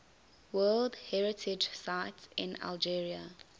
world heritage sites in algeria